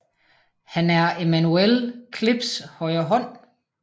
Han er Emmanuel Klipse højre hånd